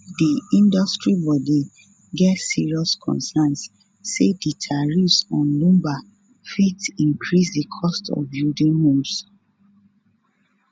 di industry body get serious concerns say di tariffs on lumber fit increase di cost of building homes